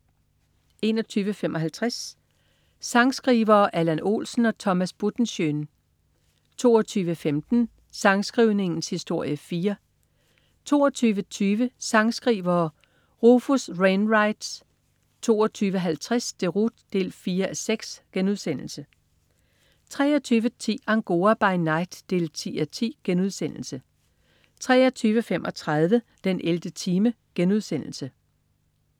21.55 Sangskrivere: Allan Olsen og Thomas Buttenschön 22.15 Sangskrivningens historie 4 22.20 Sangskrivere: Rufus Wainwright 22.50 Deroute 4:6* 23.10 Angora by night 10:10* 23.35 den 11. time*